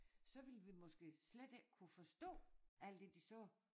Så ville vi måske slet ikke kunne forstå alt det de sagde